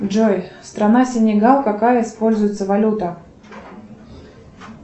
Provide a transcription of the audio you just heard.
джой страна сенегал какая используется валюта